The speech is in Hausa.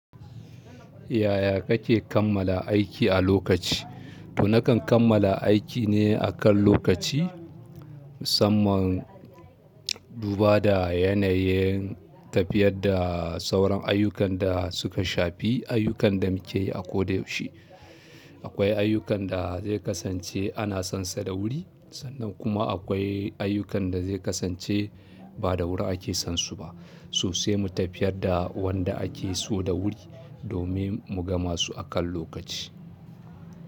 Yaya kake kammala aiki a lokaci? To nakan kammala aiki ne akan lokaci, musamman duba da yanayin tafiyadda sauran ayyukan da suka shafi ayyukan da muke yi a kodayaushe. Akwai ayyukan da zai kasance ana son sa da wuri sannan kuma akwai ayyukan da zai kasance ba da wuri ake son su ba sosai mu tafiyar da wanda ake so da wuri domin mu gama su akan lokaci.